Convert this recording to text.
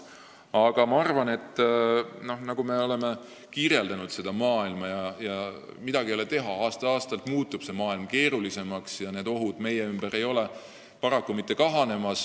Aga ma arvan, et midagi ei ole teha – aasta-aastalt muutub maailm keerulisemaks ja paraku ohud meie ümber ei kahane.